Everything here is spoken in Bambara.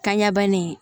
Kanɲɛ bannen